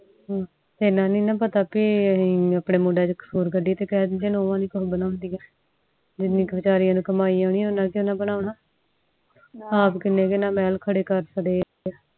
ਏਨਾ ਨੀ ਨਾ ਪਤਾ ਅਪੁਨੇ ਮੁੰਡੇ ਚ ਕਸੂਰ ਕਦੇਏ ਨੂੰਹ ਚ ਕਸੂਰ ਕਦ ਦੇ ਨੇ ਜਿਨਿ ਕ ਬਚਰਿਯਾ ਨੂੰ ਕਮਾਈ ਏਨੀ ਓਹਦੇ ਚ ਓਹਨਾ ਬਣਾਉਣਾ ਅੱਪ ਕੀਨੇ ਕ ਹਨ ਮਹਿਲ ਖਰੇ ਕਰ ਚੜੇ ਆ